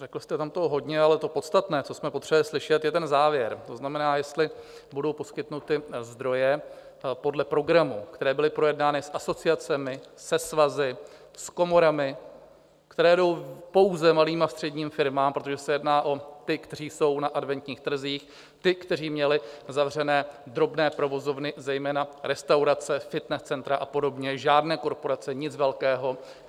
Řekl jste tam toho hodně, ale to podstatné, co jsme potřebovali slyšet, je ten závěr, to znamená, jestli budou poskytnuty zdroje podle programu, které byly projednány s asociacemi, se svazy, s komorami, které jdou pouze malým a středním firmám, protože se jedná o ty, kteří jsou na adventních trzích, ty, kteří měli zavřené drobné provozovny, zejména restaurace, fitness centra a podobně, žádné korporace, nic velkého.